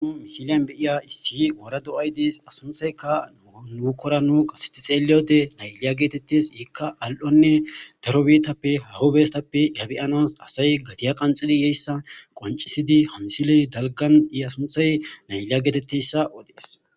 Misiliyan beiya issi wora do'ay diis asunthayka nuukkora nu qaseti xeeliyode nayliya geetettes yikka al'onne darobitappe hahobestappe yabiyanas asay gatiya qanxidi yeyssa qoncisidi hansiley dalgan iya sunthay nayliya geetetteyssa odees.